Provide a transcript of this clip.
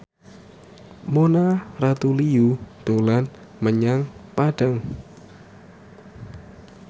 Mona Ratuliu dolan menyang Padang